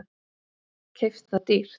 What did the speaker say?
Keypt það dýrt.